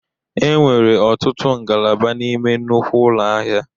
E nwere ọtụtụ ngalaba n'ime nnukwu ụlọ ahịa.